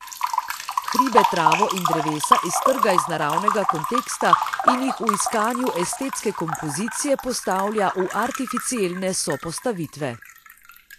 Hribe, travo in drevesa iztrga iz naravnega konteksta in jih v iskanju estetske kompozicije postavlja v artificielne sopostavitve.